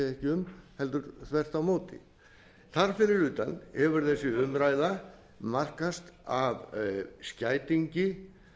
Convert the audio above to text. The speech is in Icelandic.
um heldur þvert á móti þar fyrir utan hefur þessi umræða markast af skætingi